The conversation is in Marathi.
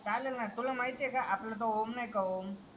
चालेल ना तुला माहिती आहे का आपला तो ओम आहे ना ओम